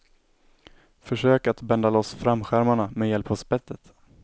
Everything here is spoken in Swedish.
Försök att bända loss framskärmarna med hjälp av spettet.